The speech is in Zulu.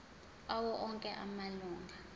awo onke amalunga